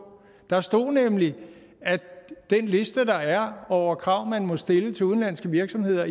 der stod nemlig at den liste der er over krav man må stille i udstationeringsdirektivet til udenlandske virksomheder